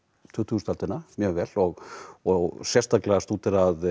tuttugustu öldina mjög vel og og sérstaklega stúderað